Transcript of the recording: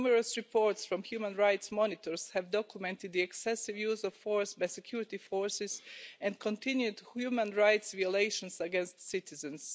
Numerous reports from human rights monitors have documented the excessive use of force by security forces, and continued human rights violations against citizens.